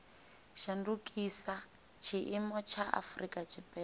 shandukisa tshiimo tsha afurika tshipembe